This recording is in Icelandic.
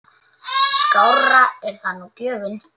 Skárri er það nú gjöfin!